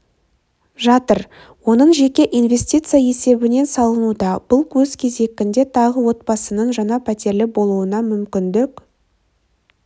жатыр оның жеке инвестиция есебінен салынуда бұл өз кезегінде тағы отбасының жаңа пәтерлі болуына мүмкіндік